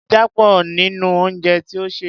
ẹja pọ̀ nínú ounjẹ tí o sè.